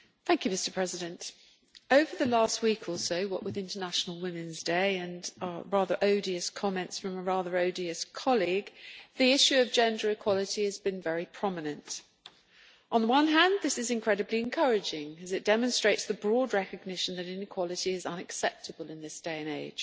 Mr President, over the last week or so, what with International Women's Day and the rather odious comments from a rather odious colleague, the issue of gender equality has been very prominent. On the one hand, this is incredibly encouraging as it demonstrates the broad recognition that inequality is unacceptable in this day and age.